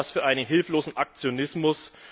Ich halte das für hilflosen Aktionismus.